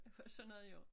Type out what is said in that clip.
Og sådan noget jo